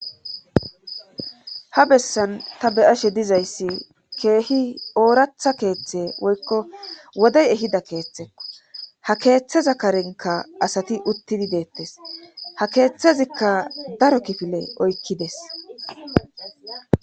ha bessan ta beyashe dizayssi keehi ooratha keeththe woykko wodey ehida keeththekko ha keeththeza karenka asati uttidi deettes ha keeththezikka daro kifile oykkides